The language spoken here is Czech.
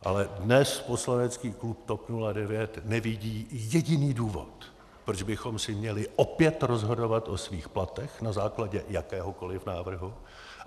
Ale dnes poslanecký klub TOP 09 nevidí jediný důvod, proč bychom si měli opět rozhodovat o svých platech na základě jakéhokoli návrhu.